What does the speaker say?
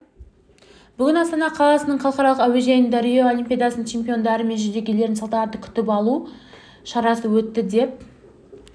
бүгін астана қаласының халықаралық әуежайында рио олимпиадасының чемпиондары мен жүлдегерлерін салтанатты күтіп алу шарасы өтті деп